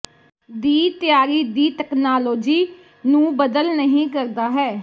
ਦੀ ਤਿਆਰੀ ਦੀ ਤਕਨਾਲੋਜੀ ਨੂੰ ਬਦਲ ਨਹੀ ਕਰਦਾ ਹੈ